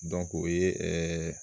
o ye ɛɛ